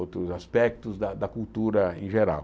outros aspectos da da cultura em geral.